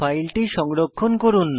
ফাইলটি সংরক্ষণ করুন